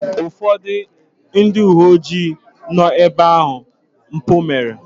Ụfọdụ ndị uwe ojii nọ ebe ahụ mpụ mere.